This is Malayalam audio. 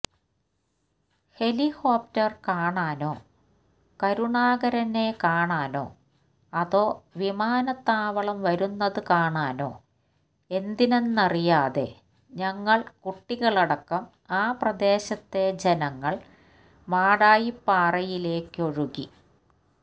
ഹെലികോപ്റ്റര് കാണാനോ കരുണാകരനെ കാണാനോ അതോ വിമാനത്താവളം വരുന്നത് കാണാനോ എന്തിനെന്നറിയാതെ ഞങ്ങള് കുട്ടികളടക്കം ആ പ്രദേശത്തെ ജനങ്ങള് മാടായിപ്പാറയിലേക്കൊഴുകി